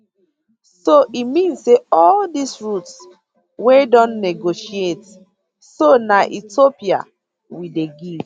so e mean say all dis routes wey don negotiate so na ethiopia we dey give